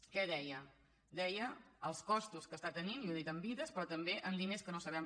què deia deia els costos que està tenint i ho ha dit en vides però també en diners que no sabem